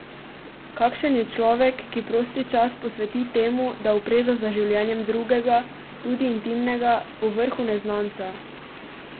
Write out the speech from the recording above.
Kakšen je človek, ki prosti čas posveti temu, da opreza za življenjem drugega, tudi intimnega, povrhu neznanca?